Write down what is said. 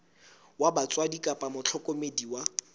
wa batswadi kapa mohlokomedi wa